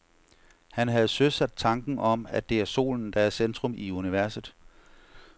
Han havde søsat tanken om, at det er solen, der er i centrum af universet.